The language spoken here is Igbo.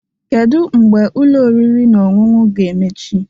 Kedu mgbe Ụlọ oriri na ọṅụṅụ a ga-emechi?